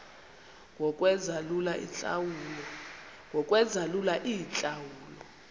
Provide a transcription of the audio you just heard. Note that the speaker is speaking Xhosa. ngokwenza lula iintlawulo